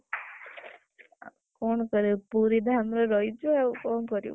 କଣ କରିବୁ, ପୁରୀ ଧାମରେ ରହିଛୁ ଆଉ କଣ କରିବୁ?